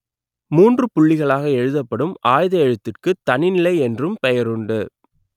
மூன்று புள்ளிகளாக எழுத்தப்படும் ஆய்த எழுத்திற்கு தனிநிலை என்றும் பெயருண்டு